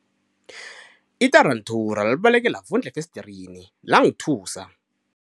Itaranthula libaleke lavundla efesdirini langithusa.